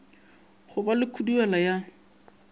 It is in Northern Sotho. go ba le khuduela ya